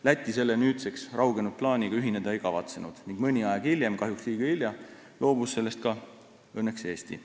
Läti selle nüüdseks raugenud plaaniga ühineda ei kavatsenud ning mõni aeg hiljem – kahjuks liiga hilja – loobus sellest õnneks ka Eesti.